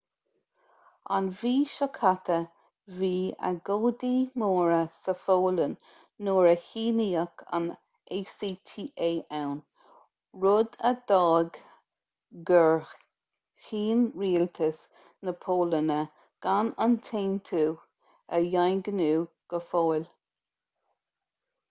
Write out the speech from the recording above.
an mhí seo caite bhí agóidí móra sa pholainn nuair a shíníodh an acta ann rud a d'fhág gur chinn rialtas na polainne gan an t-aontú a dhaingniú go fóill